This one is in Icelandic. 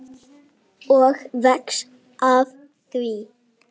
Og vex af því.